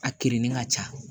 A kerenin ka ca